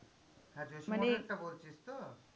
হ্যাঁ যোশীমঠেরটা বলছিস তো?